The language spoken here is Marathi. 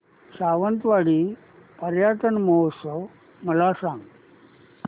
सावंतवाडी पर्यटन महोत्सव मला सांग